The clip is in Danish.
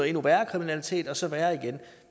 endnu værre kriminalitet og så værre igen